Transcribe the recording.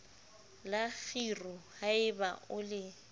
la kgiro haeba o le